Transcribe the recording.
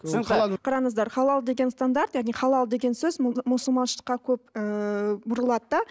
қараңыздар халал деген стандарт яғни халал деген сөз мұсылманшылыққа көп ыыы бұрылады да